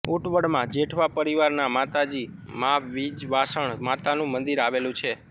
ઉંટવડ મા જેઠવા પરીવાર ના માતાજી માવિજવાસણ માતાનુ મંદિર આવેલુ છે